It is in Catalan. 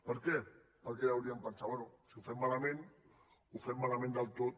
per què perquè deurien pensar bé si ho fem malament ho fem malament del tot